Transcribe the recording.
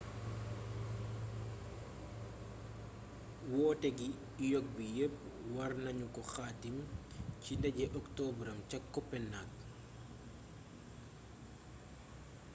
woote gi ioc bi yepp war nanu ko xaatim ci ndaje oktabram ca copenhagen